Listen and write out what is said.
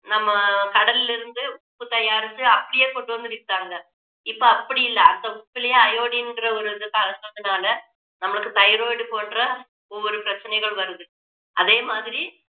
நம்ம கடல்ல இருந்து உப்பு தயாரிச்சு அப்படியே கொண்டு வந்து வித்தாங்க இப்போ அப்படி இல்ல அந்த உப்பிலேயே iodine ன்ற ஒரு இது கலந்ததுனால நம்மளுக்கு thyroid போன்ற ஒவ்வொரு பிரச்சனைகள் வருது அதே மாதிரி